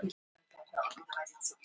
Þá sendir Þórbergur